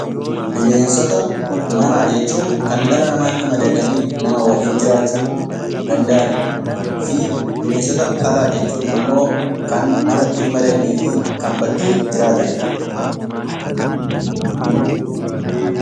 Bineensota manaa jechuun kan dhala namaa tti madaqanii nama waliin jiraachuu danda'ani dha. fi Bineensota alaa jechuun immoo kan namatti hin madaqnee fi bakkee jiraatani dha.